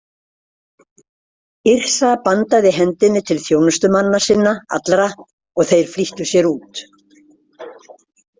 Yrsa bandaði hendinni til þjónustumanna sinna allra og þeir flýttu sér út.